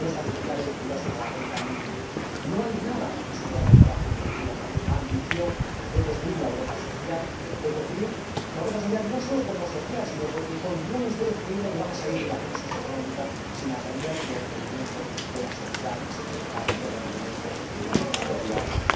No está la Directiva sobre la renta mínima. No hay nada en su programa de trabajo que nos diga que hay ambición de construir la Europa social, no sólo por lo social, sino porque continúan ustedes creyendo que van a salir de la crisis económica sin atender los requerimientos de la sociedad, sin atender los requerimientos de nuestros ciudadanos.